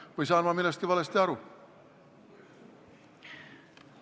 Või saan ma millestki valesti aru?